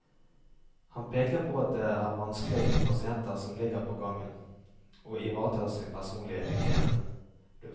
Han peker på at det er vanskelig for pasienter som ligger på gangen, å ivareta sin personlige hygiene.